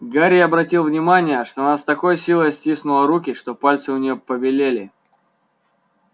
гарри обратил внимание что она с такой силой стиснула руки что пальцы у нее побелели